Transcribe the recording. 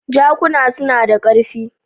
Jakuna suna da ƙarfi.